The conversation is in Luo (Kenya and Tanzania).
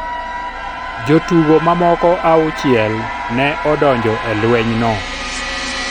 Jotugo mamoko auchiel ne odonjo e lwenyno.